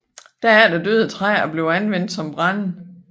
Derefter døde træet og blev anvendt som brænde